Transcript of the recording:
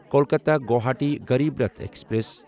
Kolkata Guwahati Garib Rath express